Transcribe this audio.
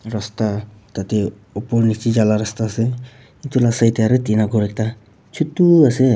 rasta tatae opor nichae jala rasta ase edu la side tae aro ekta tina khor ekta chutu ase.